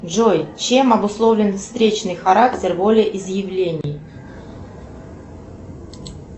джой чем обусловлен встречный характер волеизъявлений